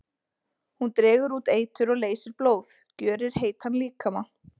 Hún dregur út eitur og leysir blóð, gjörir heitan líkama.